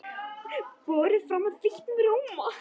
Borið fram með þeyttum rjóma.